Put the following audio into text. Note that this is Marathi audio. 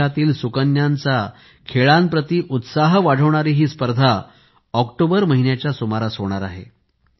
देशातील सुकन्यांचा खेळांप्रती उत्साह वाढविणारी ही स्पर्धा ऑक्टोबर महिन्याच्या सुमारास होईल